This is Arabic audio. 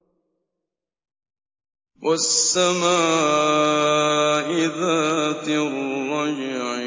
وَالسَّمَاءِ ذَاتِ الرَّجْعِ